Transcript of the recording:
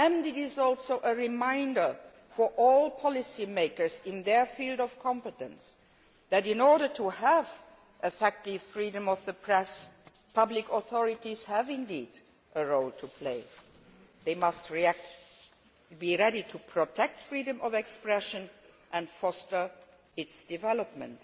It is also a reminder for all policymakers in their field of competence that, in order to have effective freedom of the press, public authorities do indeed have a role to play they must be ready to protect freedom of expression and foster its development.